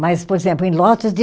Mas, por exemplo, em lotes de